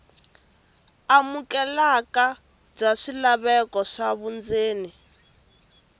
amukeleka bya swilaveko swa vundzeni